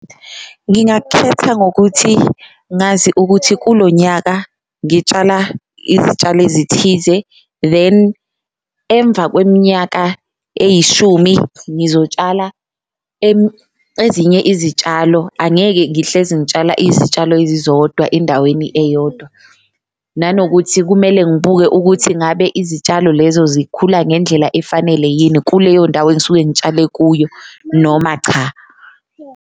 Ngingakhetha ngokuthi ngazi ukuthi kulonyaka ngitshala izitshalo ezithize then emva kweminyaka eyishumi ngizotshala ezinye izitshalo, angeke ngihlezi ngitshala izitshalo ezizodwa endaweni eyodwa. Nanokuthi kumele ngibuke ukuthi ngabe izitshalo lezo zikhula ngendlela efanele yini kuleyo ndawo engisuke ngitshale kuyo noma cha.